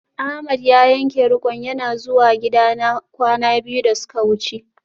Ahmed ya yanke rik'on yana zuwa gidana kwana biyu da suka wuce